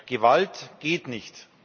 Gewalt geht nicht!